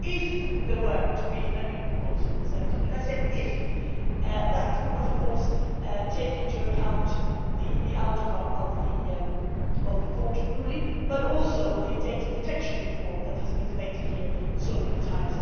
If there were to be a new proposal presented and I said if' that would, of course, take into account the outcome of the Court ruling but also the data protection reform that has been debated here so many times.